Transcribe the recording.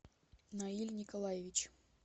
наиль николаевич